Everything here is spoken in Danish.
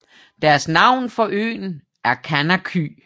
Deres navn for øen er Kanaky